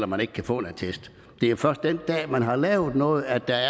man ikke kan få en attest det er først den dag man har lavet noget at der